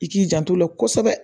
I k'i jant'o la kosɛbɛ